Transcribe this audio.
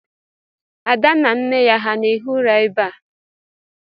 Ada na nne ya ha na-ehi ụra ebe a?